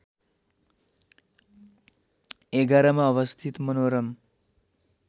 ११ मा अवस्थित मनोरम